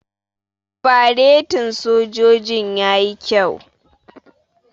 Faretin sojojin yayi kyau.